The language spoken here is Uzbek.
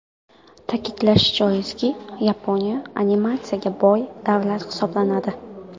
Ta’kidlash joizki, Yaponiya animatsiyaga boy davlat hisoblanadi.